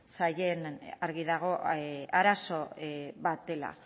zaien argi dago arazo bat dela